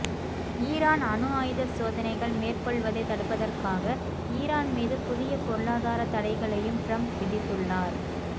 Iran அணு ஆயுத சோதனைகள் மேற்கொள்வதைத் தடுப்பதற்காக ஈரான் மீது புதிய பொருளாதாரத் தடைகளையும் ட்ரம்ப் விதித்துள்ளார்